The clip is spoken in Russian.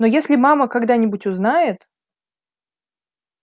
но если мама когда-нибудь узнает